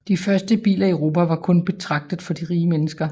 Og de første biler i Europa var kun betragtet for de rige mennesker